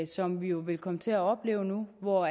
som vi jo vil komme til at opleve hvor